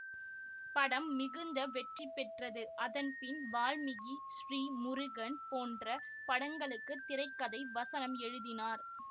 படம் மிகுந்த வெற்றி பெற்றது அதன்பின் வால்மீகி ஸ்ரீ முருகன் போன்ற படங்களுக்கு திரை கதை வசனம் எழுதினார்